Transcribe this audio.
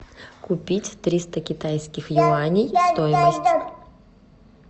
купить триста китайских юаней стоимость